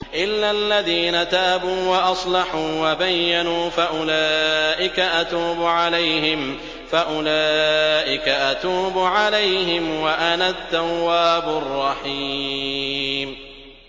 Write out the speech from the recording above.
إِلَّا الَّذِينَ تَابُوا وَأَصْلَحُوا وَبَيَّنُوا فَأُولَٰئِكَ أَتُوبُ عَلَيْهِمْ ۚ وَأَنَا التَّوَّابُ الرَّحِيمُ